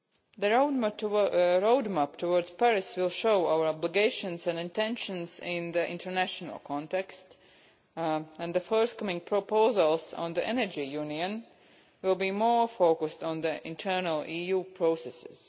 The roadmap towards Paris will show our obligations and intentions in the international context, and the forthcoming proposals on the Energy Union will be more focused on internal EU processes.